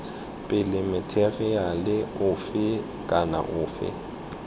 pele matheriale ofe kana ofe